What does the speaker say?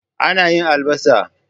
Ana yin albasa.